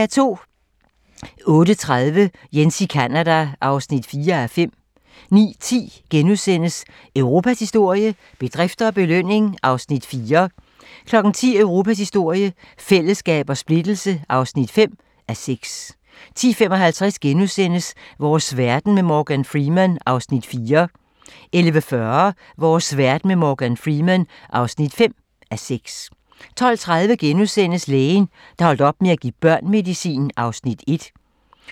08:30: Jens i Canada (4:5) 09:10: Europas historie - bedrifter og belønning (4:6)* 10:00: Europas historie - fællesskab og splittelse (5:6) 10:55: Vores verden med Morgan Freeman (4:6)* 11:40: Vores verden med Morgan Freeman (5:6) 12:30: Lægen, der holdt op med at give børn medicin (1:2)*